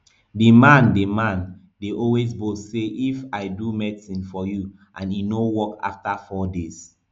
di man dey man dey always boast say if i do medicine for you and e no work afta four days